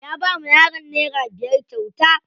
Ya bawa yaran nera biyar kyauta.